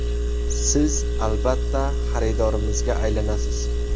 Siz , albatta , xaridorimizga aylanasiz !